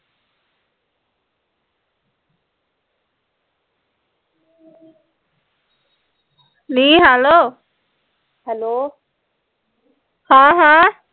ਨੀ ਹੈਲੋ ਹਾਂ ਹਾਂ